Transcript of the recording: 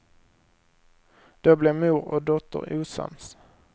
Då blev mor och dotter osams.